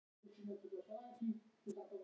Smiðjuvöllum